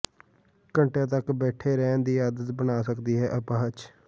ਘੰਟਿਆਂ ਤੱਕ ਬੈਠੇ ਰਹਿਣ ਦੀ ਆਦਤ ਬਣਾ ਸਕਦੀ ਹੈ ਅਪਾਹਜ